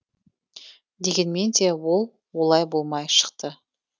дегенмен де ол олай болмай шықты